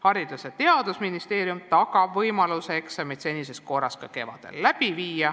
Haridus- ja Teadusministeerium tagab võimaluse eksameid senises korras läbi viia ka kevadel.